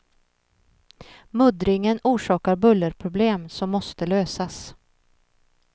Muddringen orsakar bullerproblem som måste lösas.